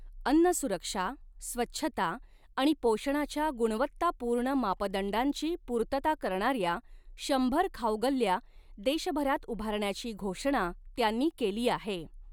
अन्न सुरक्षा, स्वच्छता आणि पोषणाच्या गुणवत्तापूर्ण मापदंडांची पूर्तता करणाऱ्या शंभर खाऊगल्ल्या देशभरात उभारण्याची घोषणा त्यांनी केली आहे.